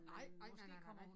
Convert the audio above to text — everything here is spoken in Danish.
Nej ej nej nej nej nej